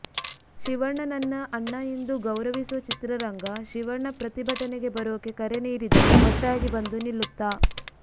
ಶಿವಣ್ಣನನ್ನ ಅಣ್ಣ ಎಂದು ಗೌರವಿಸೋ ಚಿತ್ರರಂಗ ಶಿವಣ್ಣ ಪ್ರತಿಭಟನೆಗೆ ಬರೋಕೆ ಕರೆ ನೀಡಿದರೆ ಒಟ್ಟಾಗಿ ಬಂದು ನಿಲ್ಲುತ್ತಾ